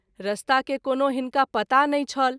रास्ता के कोनो हिनका पता नहिं छल।